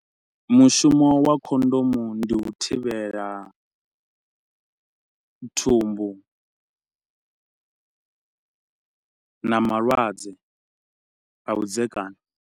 Mushumo wa khondomu ndi u thivhela thumbu na malwadze a vhudzekani.